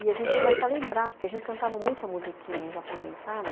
E a gente começa a lembrar, porque a gente cantava muita musiquinha em japonês, sabe?